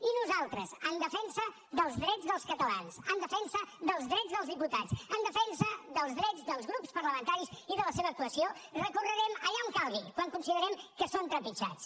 i nosaltres en defensa dels drets dels catalans en defensa dels drets dels diputats en defensa dels drets dels grups parlamentaris i de la seva actuació recorrerem allà on calgui quan considerem que són trepitjats